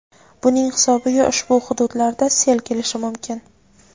buning hisobiga ushbu hududlarda sel kelishi mumkin.